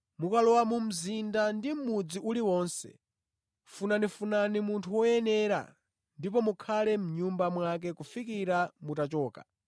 Mukalowa mu mzinda ndi mʼmudzi uliwonse, funafunani munthu woyenera ndipo mukhale mʼnyumba mwake kufikira mutachoka.